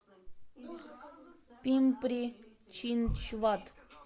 пимпри чинчвад